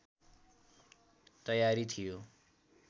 तयारी थियो